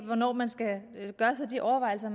hvornår man skal gøre sig de overvejelser